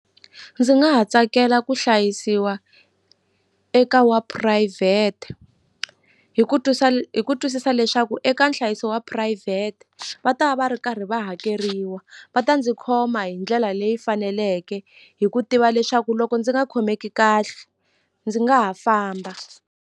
Ndzi nga tsakela ku hlayisiwa eka wa phurayivhete hi ku hi ku twisisa leswaku eka nhlayiso wa phurayivhete va ta va va ri karhi va hakeriwa va ta ndzi khoma hi ndlela leyi faneleke hi ku tiva leswaku loko ndzi nga khomeki kahle ndzi nga ha famba.